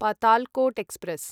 Patalkot express